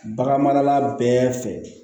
Bagan marala bɛɛ fɛ